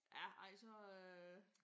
Ja ej så øh